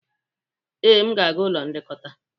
Ee, m ga-aga n'ụlọ nlekọta.